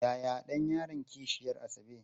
Yaya ɗan yaron kishiyar Asabe?